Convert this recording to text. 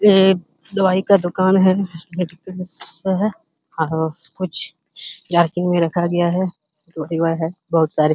ये दवाई का दुकान है और कुछ मे रखा गया है बोहोत सारे।